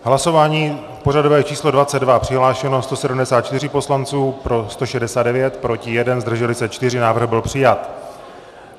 Hlasování pořadové číslo 22, přihlášeno 174 poslanců, pro 169, proti 1, zdrželi se 4, návrh byl přijat.